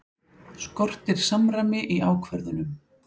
Skortir samræmi í ákvörðunum